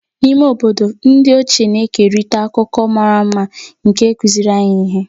N'ime ime obodo, ndị ochie na-ekerịta akụkọ mara mma nke kụziiri anyị ihe.